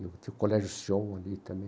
E que o colégio Sion ali também.